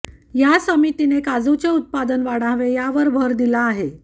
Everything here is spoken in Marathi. या समितीने काजूचे उत्पादन वाढावे यावर भर दिला आहे